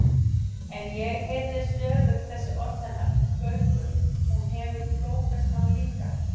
En ég heyrði stöðugt þessi orð hennar: Gaukur, hún hefur klófest hann líka